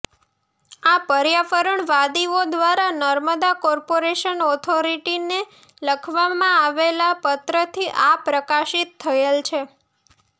આ પર્યાવરણવાદીઓ દ્વારા નર્મદા કોર્પોરેશન ઓથોરિટીને લખવામાં આવેલા પત્રથી આ પ્રકાશિત થયેલ છે